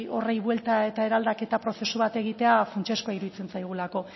horri buelta eta eraldaketa prozesu bat egitea funtsezkoa iruditzen zaigulako